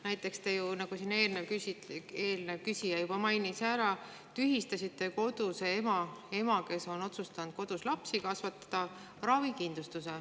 Näiteks, nagu eelmine küsija juba mainis, tühistasite te kodus lapsi kasvatada otsustanud koduse ema ravikindlustuse.